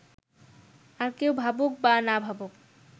আর কেউ ভাবুক বা না ভাবুক